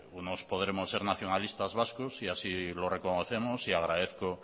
bueno unos podremos ser nacionalistas vascos y así lo reconocemos y agradezco